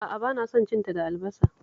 A'a, ba na son cin ta da albasa